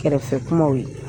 Kɛrɛfɛ kumaw ye.